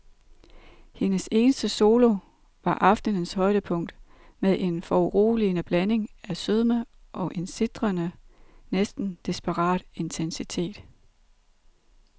Hendes eneste solo var aftenens højdepunkt med en foruroligende blanding af sødme og en sitrende, næsten desperat intensitet.